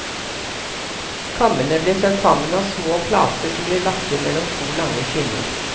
Kammene ble satt sammen av små plater som ble lagt inn mellom to lange skinner.